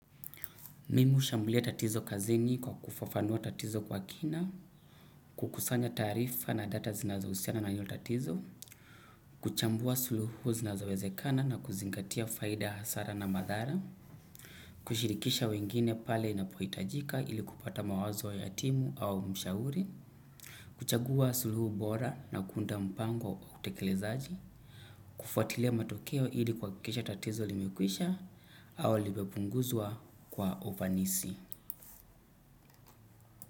Mimi hushambulia tatizo kazini kwa kufafanua tatizo kwa kina, kukusanya taarifa na data zinazohusiana na hiyo tatizo, kuchambua suluhu zinazowezekana na kuzingatia faida hasara na madhara, kushirikisha wengine pale inapohitajika ili kupata mawazo ya timu au mshauri, kuchagua suluhu bora na kuunda mpango wa utekelezaji, kufuatilia matokeo ili kuhakikisha tatizo limekwisha au limepunguzwa kwa ufanisi.